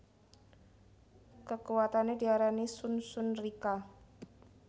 Kekuwatane diarani Shun Shun Rikka